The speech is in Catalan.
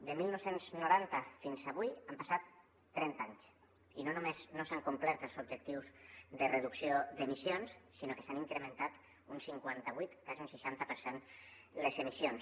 de dinou noranta fins avui han passat trenta anys i no només no s’han complert els objectius de reducció d’emissions sinó que s’han incrementat un cinquanta vuit quasi un seixanta per cent les emissions